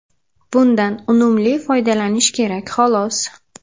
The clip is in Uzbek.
Bundan unumli foydalanish kerak, xolos.